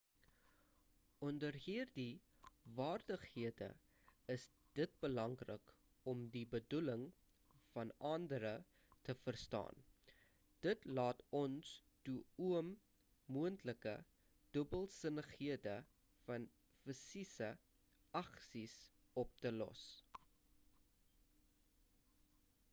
onder hierdie vaardighede is dit belangrik om die bedoeling van andere te verstaan dit laat ons toe om moontlike dubbelsinnighede van fisiese aksies op te los